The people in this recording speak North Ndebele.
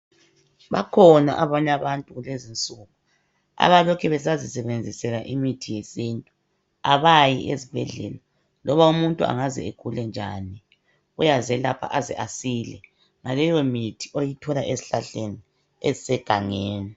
Bakhona abanye abantu kulezi insuku abalokhe besazisebenzisela imithi yesintu abayi esibhedlela loba umuntu angaze agule njani uyazelapha aze asile ngaleyo mithi oyithola esihlahleni esisegangeni.